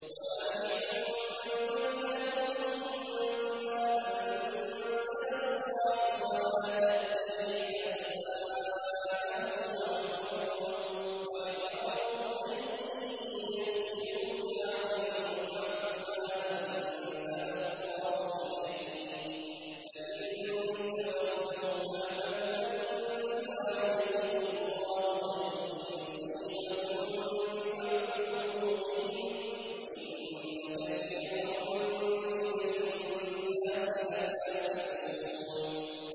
وَأَنِ احْكُم بَيْنَهُم بِمَا أَنزَلَ اللَّهُ وَلَا تَتَّبِعْ أَهْوَاءَهُمْ وَاحْذَرْهُمْ أَن يَفْتِنُوكَ عَن بَعْضِ مَا أَنزَلَ اللَّهُ إِلَيْكَ ۖ فَإِن تَوَلَّوْا فَاعْلَمْ أَنَّمَا يُرِيدُ اللَّهُ أَن يُصِيبَهُم بِبَعْضِ ذُنُوبِهِمْ ۗ وَإِنَّ كَثِيرًا مِّنَ النَّاسِ لَفَاسِقُونَ